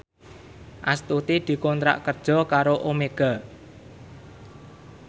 Astuti dikontrak kerja karo Omega